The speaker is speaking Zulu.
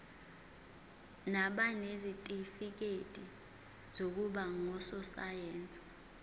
nabanezitifikedi zokuba ngososayense